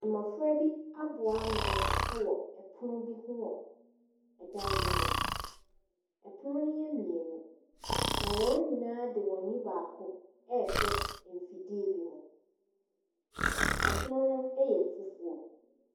Mmofra bi aboa ano ɛwɔ ɛpono bi ho ɛwɔ ɛdan bi mu, ɛpono no yɛ miennu na wɔn nyinaa de wɔn ani baako ɛɛhwɛ mfidie bi mu. Ɛpono ɛyɛ fufuo.